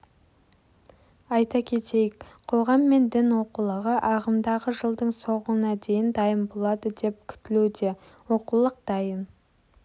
айта кетейік қоғам мен дін оқулығы ағымдағы жылдың соңына дейін дайын болады деп күтілуде оқулық дайын